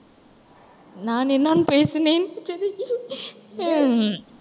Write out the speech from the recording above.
நான் பேசினேன் உம்